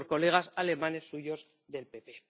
Por colegas alemanes suyos del PPE.